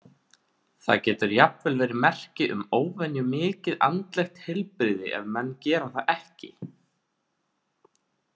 Það getur jafnvel verið merki um óvenju mikið andlegt heilbrigði ef menn gera það ekki.